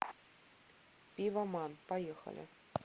пивоман поехали